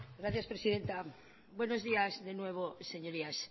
gracias presidenta buenos días de nuevo señorías